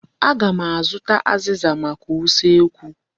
Aga m azụta azịza maka usekwu.